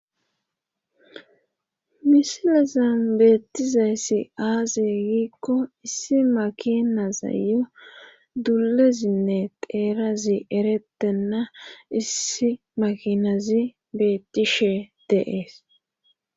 Misilezan beettizayssi aaze giikko issi makinazayyo dulezinne teerazi eretenna issi makinazi beettishe deees.